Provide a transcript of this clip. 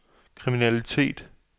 kriminalitet